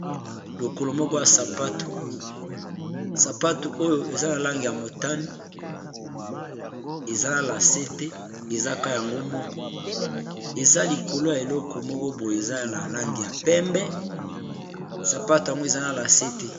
lokolo moko ya sapato sapato oyo eza la lange ya motani eza na lasete ezaka yango moko eza likolo ya eleko moko poye eza la lange ya pembe sapato yango eza na lasete